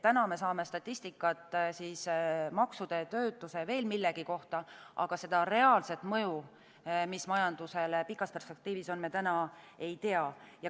Täna me saame statistikat maksude, töötuse, veel millegi kohta, aga seda reaalset mõju, mis majandusele pikas perspektiivis on, me täna ei tea.